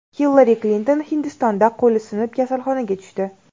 Hillari Klinton Hindistonda qo‘li sinib, kasalxonaga tushdi.